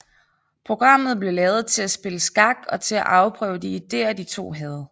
Programmet blev lavet til at spille skak og til at afprøve de ideer de to havde